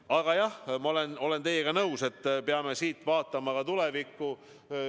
Aga jah, ma olen teiega nõus, et me peame vaatama ka tulevikku.